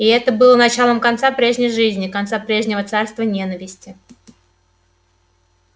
и это было началом конца прежней жизни конца прежнего царства ненависти